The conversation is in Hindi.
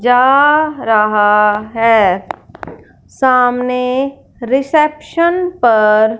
जा रहा है सामने रिसेप्शन पर --